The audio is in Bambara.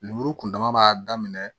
Lemuru kuntaama b'a daminɛ